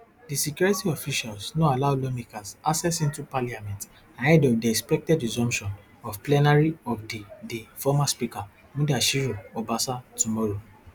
di security officials no allow lawmakers access into parliament ahead of di expected resumption of plenary of di di former speaker mudashiru obasa tomorrow